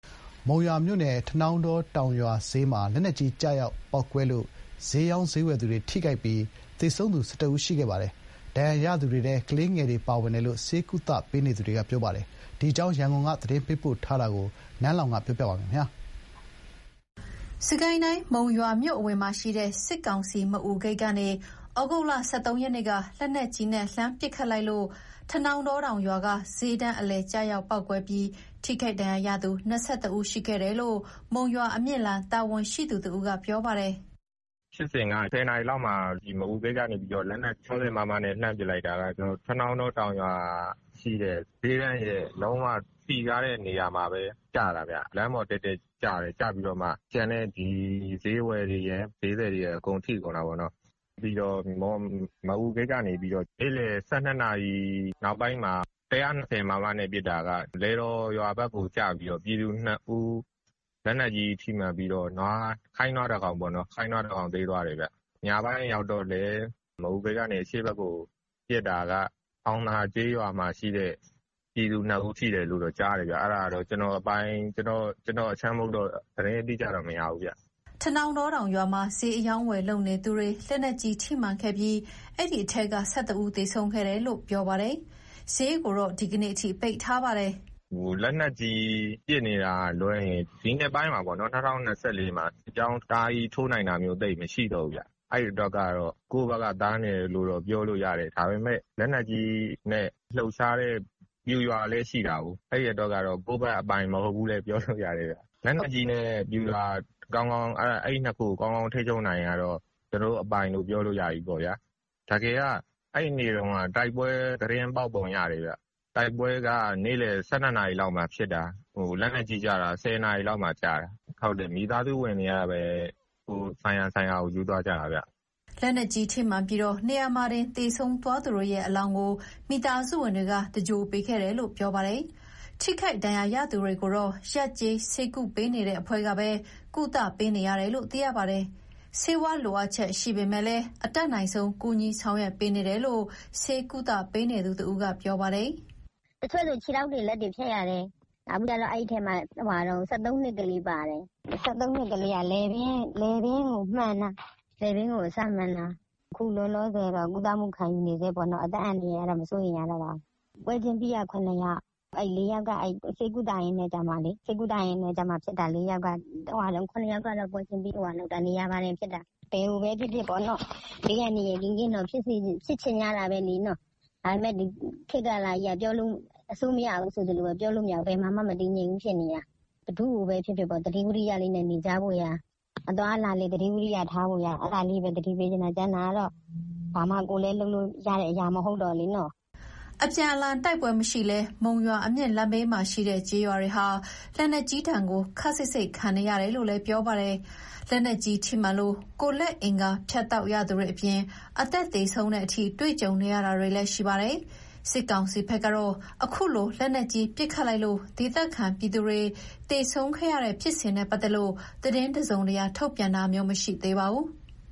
မုံရွာမြို့နယ်၊ ထနောင်းတောတောင်ရွာစျေးမှာ လက်နက်ကြီးကျည် ကျရောက်ပေါက်ကွဲလို့ စျေးရောင်း၊ စျေးဝယ်သူတွေထိခိုက်ပြီး၊ သေဆုံးသူ ၁၁ ဦးရှိခဲ့ပါတယ်။ ဒဏ်ရာရသူတွေထဲ ကလေးငယ်တွေပါဝင်တယ်လို့ ဆေးကုသပေးနေသူတွေက ပြောပါတယ်။ဒီအကြောင်း ရန်ကုန်က သတင်းပေးပို့ထားတာကို နန်းလောင်ဝ်ကတင်ပြပေးထားပါတယ်။ စစ်ကိုင်းတိုင်း၊ မုံရွာမြို့အဝင်မှာရှိတဲ့ စစ်ကောင်စီ မအူဂိတ်ကနေ ဩဂုတ်လ ၁၃ ရက်နေ့က လက်နက်ကြီးနဲ့ လှမ်းပစ်ခတ်လိုက်လို့ထနောင်းတော တောင်ရွာ က စျေးတန်းအလယ် ကျရောက်ပေါက်ကွဲပြီး ထိခိုက်ဒဏ်ရာရသူ ၂၁ ဦးရှိခဲ့တယ်လို့ မုံရွာ-အမြင့်လမ်းတာဝန်ရှိသူတဦးက ပြောပါတယ်။ "ဖြစ်စဉ်က မနက် ၁၀ နာရီလောက်မှာ မအူဂိတ်ကနေပြီးတော့ လက်နက်ကြီး ၆၀ မမနဲ့ လှမ်းပစ်လိုက်တာ ထနောင်းတောတောင်ရွာမှာရှိတဲ့ စျေးတန်းရဲ့ လုံးဝစည်ကားတဲ့နေရာမှာ လမ်းပေါ်တည့်တည့်ကျတာဗျ။ ကျပြီးတော့မှ စျေးဝယ်တွေရယ်၊ စျေးသည်တွေရယ်၊ အကုန်ထိကုန်တာပေါ့နော်။ ပြီးတော့ မအူဂိတ်ကနေပြီးတော့ နေ့လည် ၁၂ နာရီနောက်ပိုင်းမှာ ၁၂၀ မမနဲ့ ပစ်တာက လယ်တော်ရွာဘက်ကို ကျပြီးတော့ ပြည်သူ ၂ ဦး လက်နက်ကြီးထိမှန်ပြီးတော့ ခိုင်းနွား ၁ ကောင် သေသွားတယ်ဗျ။ ညပိုင်းရောက်တော့လည်း မအူဂိတ်ကနေ အရှေ့ဘက်ကို ပစ်တာက တောင်သာကျေးရွာမှာရှိတဲ့ ပြည်သူ ၂ ဦး ထိတယ်လို့တော့ ကြားတယ်ဗျ။ အဲဒါကတော့ ကျနော်တို့အခြမ်းမဟုတ်တော့ သတင်းအတိအကျတော့ မရဘူးဗျ။" ထနောင်းတောတောင်ရွာမှာ စျေးအရောင်းအဝယ်လုပ်နေသူတွေ လက်နက်ကြီးထိမှန်ခဲ့ပြီး အဲဒီထဲက ၁၁ ဦး သေဆုံးခဲ့တယ်လို့ပြောပါတယ်။ စျေးကိုတော့ ဒီကနေ့အထိ ပိတ်ထားပါတယ်။ "လက်နက်ကြီး ပစ်နေတာကလွဲရင် ဒီနှစ်ပိုင်း ၂၀၂၄ ထဲမှာ အကြောင်းတအားဆိုးနိုင်တာမျိုး သိပ်မရှိတော့ဘူးဗျ။ အဲအတွက်ကတော့ ကိုယ့်ဘက်က သာနေတယ်လို့တော့ ပြောလို့ရတယ်။ ဒါပေမဲ့ လက်နက်ကြီးနဲ့ လှုပ်ရှားတဲ့ ပျူရွာကလည်း ရှိတာကို။ အဲဒီအတွက်ကတော့ ကိုယ့်ဘက်အပိုင် မဟုတ်ဘူး လည်း ပြောလို့ရတယ်ဗျ။ လက်နက်ကြီးနဲ့ ပျူရွာ အဲဒီနှစ်ခုကို ကောင်းကောင်းထိန်းချုပ်နိုင်ရင်တော့ ကျနော်တို့အပိုင်လို့ ပြောလို့ရပြီပေါ့ဗျာ။ အမှန် တကယ်က အဲဒီနေ့က တိုက်ပွဲသတင်း ပေါက်ပုံရတယ်ဗျ။တိုက်ပွဲက နေ့လည် ၁၂ နာရီလောက်မှာဖြစ်တာ။ လက်နက်ကြီးကျတာက မနက် ၁၀ နာရီ လောက်မှာ ကျတာ။ အလောင်းတွေကိုတော့ မိသားစုတွေကပဲ ဆိုင်ရာဆိုင်ရာကို ယူသွားကြတာဗျ။" လက်နက်ကြီးထိမှန်ပြီး နေရာမှာတင် သေဆုံးသွားသူတွေရဲ့ အလောင်းကို မိသားစုဝင်တွေက သင်္ဂြိုဟ်ပေးခဲ့တယ်လို့ ပြောပါတယ်။ ထိခိုက်ဒဏ်ရာ ရသူတွေကိုတော့ ရပ်ကျေးဆေးကုပေးနေတဲ့ အဖွဲ့ကပဲ ကုသပေးနေတယ်လို့ သိရပါတယ်။ ဆေးဝါးလိုအပ်ချက် ရှိပေမယ့်လည်း အတတ်နိုင်ဆုံး ကူညီဆောင်ရွက်ပေးနေတယ်လို့ ဆေးကုသပေးနေသူတဦးက ပြောပါတယ်။ "တချို့ဆို ခြေထောက်တွေ၊ လက်တွေဖြတ်ရတယ်။ ထိတဲ့အထဲမှာ ၁၃ နှစ်ကလေးပါတယ်။ ၁၃ နှစ်ကလေးက လည်ပင်းကိုအစမှန်တာ။ အခုလောလောဆယ်ကတော့ ကုသမှုခံယူဆဲပဲ။ အသက်အန္တရာယ်ကတော့ မစိုးရိမ်ရတော့ပါဘူး။ ပွဲချင်းပြီးသေတာက ၇ ယောက်။ ကျန်တဲ့ ၄ယောက်က ဆေးကုသမှုခံနေရင်းဆုံးတာ။ ဘယ်မှာပဲဖြစ်ဖြစ် ဘေးအန္တရာယ်ကင်းကင်းတော့ ဖြစ်ချင်ကြတာပဲလေ။ ဒါပေမဲ့ ခေတ်ကာလကြီးက ဘယ်မှာမှ မတည်ငြိမ်ဘူးဖြစ်နေတာ။ ဘယ်သူ့ကိုပဲဖြစ်ဖြစ် သတိဝီရိယနဲ့ နေကြဖို့နဲ့အသွားအလာ သတိထားကြဖို့ကိုပဲ သတိပေးချင်ပါတယ်။ ကျန်တာကတော့ ကိုယ်လည်း ဘာမှလုပ်လို့ရတဲ့ အရာမဟုတ်ဘူးလေ။" အပြန်အလှန်တိုက်ပွဲမရှိလည်း မုံရွာ-အမြင့်လမ်းဘေးမှာရှိတဲ့ ကျေးရွာတွေဟာ လက်နက်ကြီးဒဏ်ကို ခပ်စိပ်စိပ်ခံနေရတယ်လို့ပြောပါတယ်။ လက်နက်ကြီးထိမှန်လို့ ကိုယ်လက်အင်္ဂါ ဖြတ်တောက်ရသူတွေ အပြင် အသက်သေဆုံးတဲ့အထိ တွေ့ကြုံနေရတာလည်း ရှိပါတယ်။ စစ်ကောင်စီဘက်ကတော့ အခုလို လက်နက်ကြီးပစ်ခတ်လိုက်လို့ ဒေသခံပြည်သူတွေ သေဆုံးခဲ့ရတဲ့ဖြစ်စဉ်နဲ့ပတ်သက်လို့ သတင်းတစုံတရာ ထုတ်ပြန်တာမျိုး မရှိသေးပါဘူး။